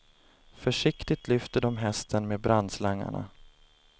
Försiktigt lyfter de hästen med brandslangarna.